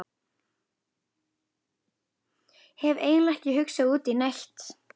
Hef eiginlega ekki hugsað út í neitt.